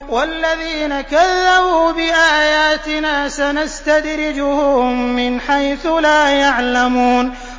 وَالَّذِينَ كَذَّبُوا بِآيَاتِنَا سَنَسْتَدْرِجُهُم مِّنْ حَيْثُ لَا يَعْلَمُونَ